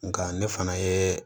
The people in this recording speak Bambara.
Nga ne fana ye